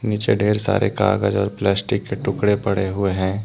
नीचे ढ़ेर सारे कागज और प्लास्टिक के टुकड़े पड़े हुए हैं।